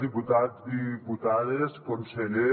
diputats diputades conseller